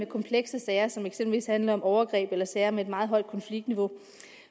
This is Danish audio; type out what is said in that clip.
komplekse sager som eksempelvis handler om overgreb eller sager med et meget højt konfliktniveau